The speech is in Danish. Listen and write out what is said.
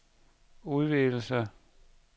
udvidelse